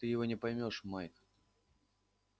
ты его не поймёшь майк